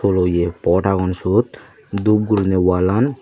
oloay pot aagon suote dup gurinay walan.